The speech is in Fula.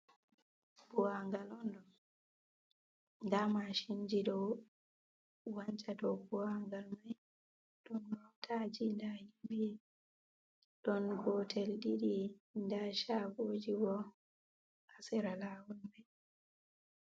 Buwa ngal on ɗo, nda mashinji ɗou wancha dou buwa ngal mai, ɗon mootaji nda himɓe. Ɗon gotel ɗiɗi nda shagoji bo ha sera lawol mai.